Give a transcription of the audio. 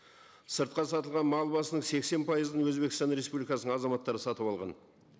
сыртқа сатылған мал басының сексен пайызын өзбекстан республикасының азаматтары сатып алған